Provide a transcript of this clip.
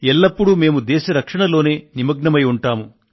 ఎల్లప్పుడూ మేము దేశ రక్షణలోనే నిమగ్నమై ఉంటాము